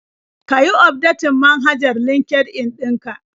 Ka yi ufdetin manhajar LinkedIn ɗin ka?